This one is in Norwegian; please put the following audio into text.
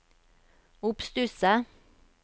oppstusset